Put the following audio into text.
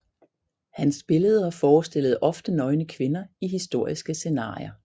Hans billeder forestillede ofte nøgne kvinder i historiske scenarier